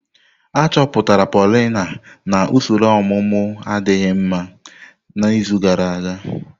Achọpụtara Paulina na usoro ọmụmụ adịghị mma n'izu gara aga.